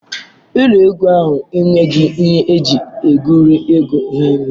Ụlọ egwu anyị enweghị ihe eji egwuri egwu hinne.